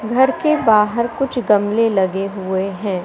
घर के बाहर कुछ गमले लगे हुए हैं।